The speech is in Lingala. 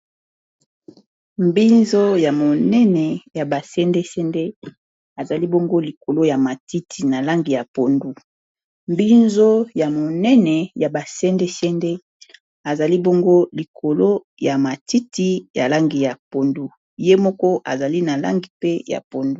mbinzo ya monene ya ba sende sende ezali bongo likolo ya mtitiminzo ya monene ya basendesendezali ngo likolo ya matiti ya langi ya pondu ye moko ezali na langi mpe ya pondu